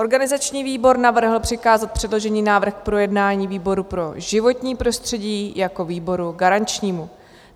Organizační výbor navrhl přikázat předložený návrh k projednání výboru pro životní prostředí jako výboru garančnímu.